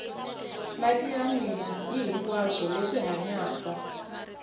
mati ya nwiwa hihinkwaswo leswi hanyaka